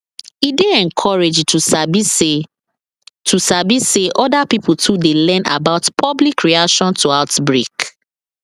e dey encouraging to sabi say to sabi say other pipo too dey learn about public reaction to outbreak